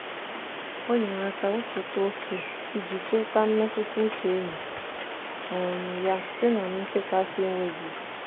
o nyere aka wepụta oke iji chekwaa mmetụtauche enyi um ya site na nchekasị enweghị isi.